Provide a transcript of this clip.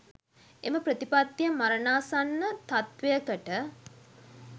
එම ප්‍රතිපත්තිය මරණාසන්න තත්ත්වයකට